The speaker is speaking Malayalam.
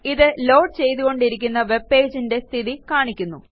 ഇത് ലോഡ് ചെയ്തുകൊണ്ടിരിക്കുന്ന webpageന്റെ സ്ഥിതി കാണിക്കുന്നു